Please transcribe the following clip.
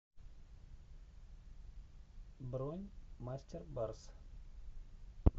бронь мастер барс